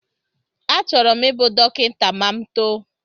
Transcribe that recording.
Achọrọ m ịbụ dọkịta ma m too